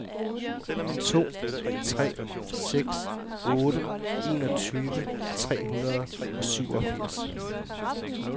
to tre seks otte enogtyve tre hundrede og syvogfirs